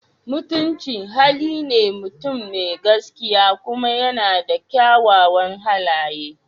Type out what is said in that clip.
Mutunci hali ne mutum mai gaskiya kuma yana da kyawawan halaye.